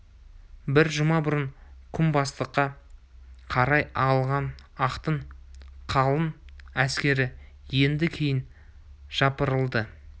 бір жұма бұрын күнбатысқа қарай ағылған ақтың қалың әскері енді кейін жапырылды